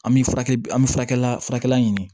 An bɛ furakɛli an bɛ furakɛli ɲini